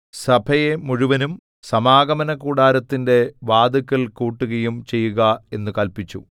സഭയെ മുഴുവനും സമാഗമനകൂടാരത്തിന്റെ വാതില്ക്കൽ കൂട്ടുകയും ചെയ്യുക എന്നു കല്പിച്ചു